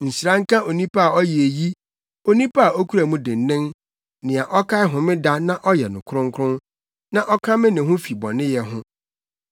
Nhyira nka onipa a ɔyɛ eyi, onipa a okura mu dennen, nea ɔkae Homeda na ɔyɛ no kronkron, na ɔkame ne ho fi bɔneyɛ ho.”